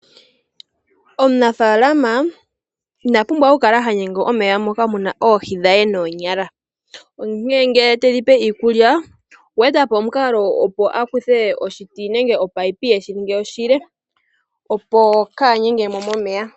Omunafalaama ina pumbwa oku kala hagumu momeya moka muna oohi dhe noonyala. Ngele tedhipe iikulya okweetapo omukalo opo akuthe oshiti oshile, opo kaagume mo momeya.